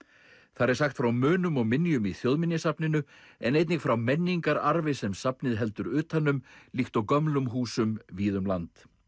þar er sagt frá munum og minjum í Þjóðminjasafninu en einnig frá menningararfi sem safnið heldur utan um líkt og gömlum húsum víða um land